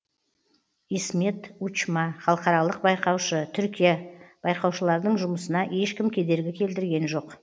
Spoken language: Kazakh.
исмет учма халықаралық байқаушы түркия байқаушылардың жұмысына ешкім кедергі келтірген жоқ